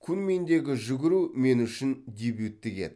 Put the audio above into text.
куньминдегі жүгіру мен үшін дебюттік еді